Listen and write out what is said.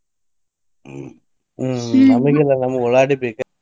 ಹ್ಮ ಹ್ಮ ನಮಗ ಇಲ್ವಾ ನಮಗ ಉಳ್ಳಾಗಡ್ಡಿ ಬೇಕೆ ಬೇಕ.